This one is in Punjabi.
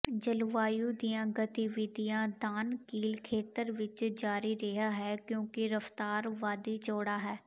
ਜਲਵਾਯੂ ਦੀਆਂ ਗਤੀਵਿਧੀਆਂ ਦਾਨਕੀਲ ਖੇਤਰ ਵਿਚ ਜਾਰੀ ਰਿਹਾ ਹੈ ਕਿਉਂਕਿ ਰਫ਼ਤਾਰ ਵਾਦੀ ਚੌੜਾ ਹੈ